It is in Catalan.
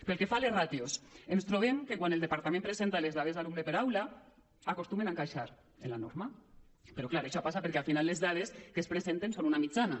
pel que fa a les ràtios ens trobem que quan el departament presenta les dades d’alumnes per aula acostumen a encaixar en la norma però clar això passa perquè al final les dades que es presenten són una mitjana